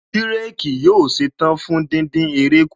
Bírèkì yóò ṣetán fún díndín eré kù